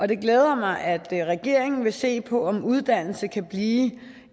det glæder mig at regeringen vil se på om uddannelsen kan blive